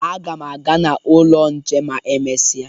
Aga m aga n'ụlọ nche ma emesịa